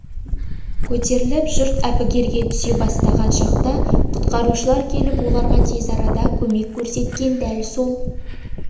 көтеріліп жұрт әбігерге түсе бастаған шақта құтқарушылар келіп оларға тез арада көмек көрсеткен дәл сол